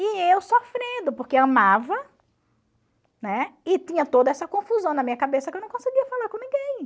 E eu sofrendo, porque amava, né, e tinha toda essa confusão na minha cabeça que eu não conseguia falar com ninguém.